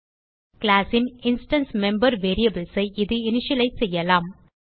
class ன் instance member variables ஐ இது இனிஷியலைஸ் செய்யலாம்